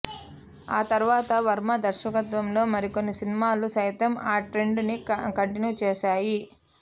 ఆ తర్వాత వర్మ దర్శకత్వంలో మరికొన్ని సినిమాలు సైతం ఆ ట్రెండ్ ని కంటిన్యూ చేసాయి